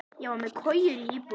Ég var með kojur í íbúðinni.